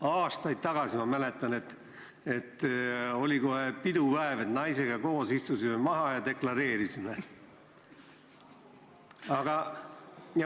Aastaid tagasi, ma mäletan, oli kohe pidupäev, naisega koos istusime maha ja deklareerisime.